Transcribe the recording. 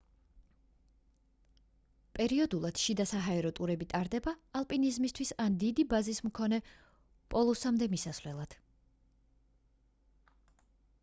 პერიოდულად შიდა საჰაერო ტურები ტარდება ალპინიზმისთვის ან დიდი ბაზის მქონე პოლუსამდე მისასვლელად